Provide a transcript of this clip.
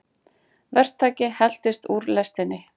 Verktaki heltist úr lestinni